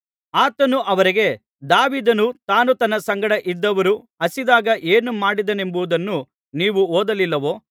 ಆತನು ಅವರಿಗೆ ದಾವೀದನು ತಾನೂ ತನ್ನ ಸಂಗಡ ಇದ್ದವರೂ ಹಸಿದಾಗ ಏನು ಮಾಡಿದನೆಂಬುದನ್ನು ನೀವು ಓದಲಿಲ್ಲವೋ